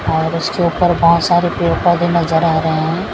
और उसके ऊपर बहोत सारे पेड़ पौधे नजर आ रहे हैं।